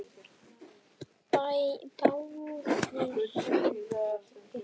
Báðir sungu.